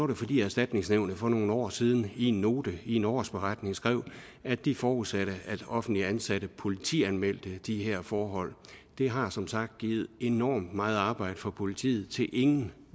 det fordi erstatningsnævnet for nogle år siden i en note i en årsberetning skrev at de forudsatte at offentligt ansatte politianmeldte de her forhold det har som sagt givet enormt meget arbejde for politiet til ingen